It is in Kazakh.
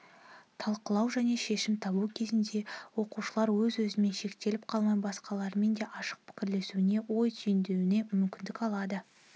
талқылау және шешім табу кезінде оқушылар өз-өзімен шектеліп қалмай басқалармен де ашық пікірлесуіне ой түйіндеуіне мүмкіндік алады